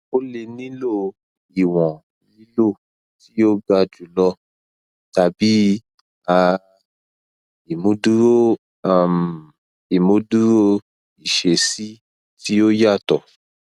o le nilo iwọn lilo ti o ga julọ tabi um imuduro um imuduro iṣesi ti o yatọ